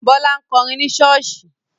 Bọ́lá ń kọrin ni ṣọ́ọ̀ṣì.